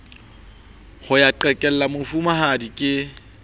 ho ya qhekella mofumahadi ke